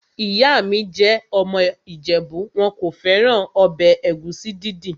Ìyá mi jẹ́ ọmọ ìjẹ̀bú. Wọn kò fẹ́ràn ọbẹ̀ ẹ̀gúsí dídì.